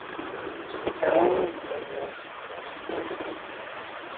Þá stóðum við sko saman.